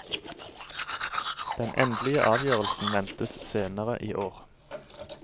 Den endelige avgjørelsen ventes senere i år.